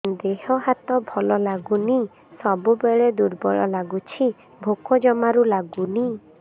ଦେହ ହାତ ଭଲ ଲାଗୁନି ସବୁବେଳେ ଦୁର୍ବଳ ଲାଗୁଛି ଭୋକ ଜମାରୁ ଲାଗୁନି